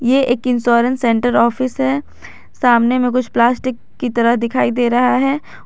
ये एक insurance centre office है सामने में कुछ प्लास्टिक की तरह दिखाई दे रहा है।